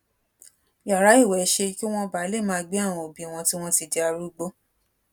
yàrá ìwè ṣe kí wón bàa lè máa gbé àwọn òbí wọn tí wón ti di arúgbó